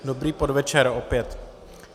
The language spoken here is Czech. Dobrý podvečer opět.